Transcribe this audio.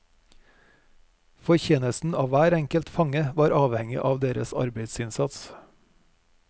Fortjenesten av hver enkelt fange var avhengig av deres arbeidsinnsats.